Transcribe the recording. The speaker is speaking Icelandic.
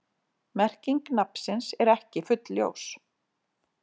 Merking nafnsins er ekki fullljós.